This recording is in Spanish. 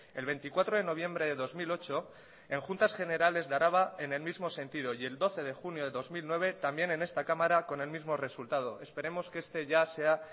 el veinticuatro de noviembre de dos mil ocho en juntas generales de araba en el mismo sentido y el doce de junio de dos mil nueve también en esta cámara con el mismo resultado esperemos que este ya sea